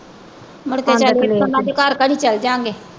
ਮੁੜ ਕੇ ਚੱਲ ਇੱਥੋਂ ਉਨ੍ਹਾਂ ਦੇ ਘਰ ਘਰ ਚੱਲ ਜਾਂਗੇ।